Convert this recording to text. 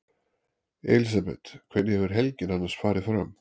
Elísabet: Hvernig hefur helgin annars farið fram?